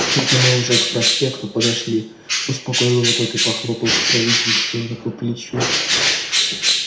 это мы уже к проспекту подошли успокоил его тот и похлопал покровительственно по плечу